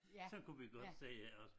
Sådan kunne vi godt sige iggås